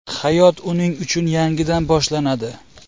Hayot uning uchun yangidan boshlanadi.